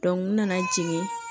n nana jigin